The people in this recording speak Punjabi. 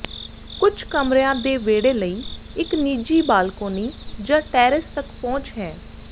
ਕੁਝ ਕਮਰਿਆਂ ਦੇ ਵਿਹੜੇ ਲਈ ਇਕ ਨਿੱਜੀ ਬਾਲਕੋਨੀ ਜਾਂ ਟੈਰੇਸ ਤਕ ਪਹੁੰਚ ਹੈ